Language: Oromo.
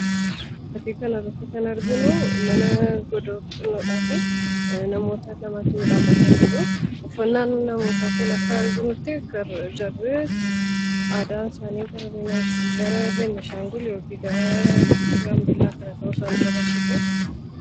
Fakkii kanarratti kan arginu mana godoo xinnoodhaa fi namoota lamatu dhaabbatanii jiru. Uffannaan namootaa akka arginutti kan ibsu jarri aadaan isaanii gara Beenishaangul yookiin gara Gambeellaa kana ta'uu isaa nutti agarsiisa.